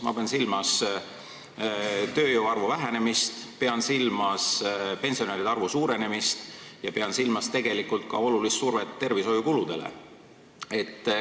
Ma pean silmas tööjõu hulga vähenemist, pensionäride arvu suurenemist ja tegelikult ka suurt survet tervishoiukuludele.